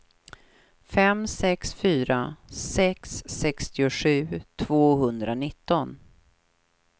fem sex fyra sex sextiosju tvåhundranitton